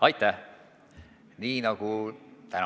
Aitäh!